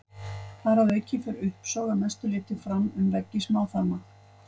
Þar að auki fer uppsog að mestu leyti fram um veggi smáþarma.